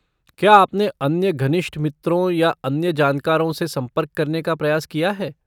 क्या आपने अन्य घनिष्ठ मित्रों या अन्य जानकारों से संपर्क करने का प्रयास किया है?